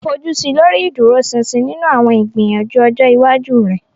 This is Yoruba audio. Fojusi lori iduroṣinṣin ninu awọn igbiyanju ọjọ iwaju rẹ.